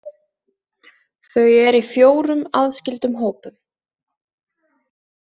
Þau eru í fjórum aðskildum hópum.